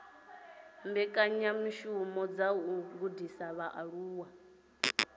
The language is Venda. mbekanyamishumo dza u gudisa vhaaluwa